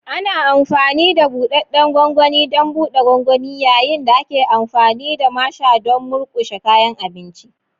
Ana amfani da buɗaɗɗen gwangwani don buɗe gwangwani, yayin da ake amfani da masher don murƙushe kayan abinci.